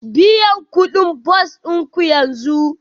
Biyan kuɗin motar bas ɗin ku yanzu